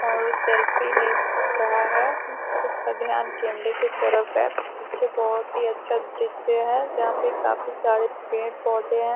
और ओ सेल्फ़ी ले रहा है। उसका ध्यान कैमरे की तरफ है। पीछे बहुत ही अच्छा दृश्य है जहाँ पे काफी सारे पेड़ पौधे हैं |